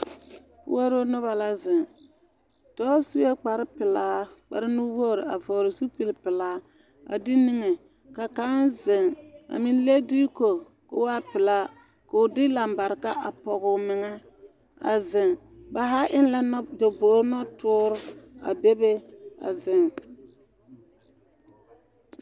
Puoruu nobo la zeŋ dɔɔ suɛ kparrpelaa kparrnuwogre vɔɔle zupilpelaa a de kniŋe kaŋ zeŋ a meŋ leŋ diiko koo waa pelaa koo de lambareka a pɔguu meŋɛ a zeŋ ba zaa eŋ la nɔtobogri nɔtoori a bebe a zeŋ.